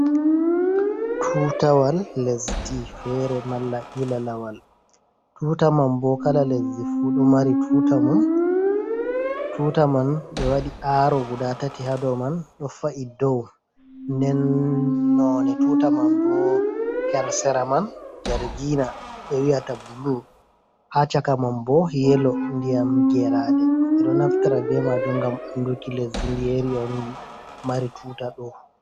Tuutawal lesdi feere, malla ilalawal. Tuuta man bo, kala lesdi fu ɗo mari tuuta mum. Tuuta man ɓhbɓbɓɓɓe waɗi aaro guda tati haa dow man ɗo fa’i dow. Nden noone tuta man bo, her sera man jargina ɓe wi'ata bulu. Haa chaka man bo yelo ndiƴam geerade, ɓe ɗo naftira be maajum ngam anduki lesdi ndiyeri on mari tuta ɗo.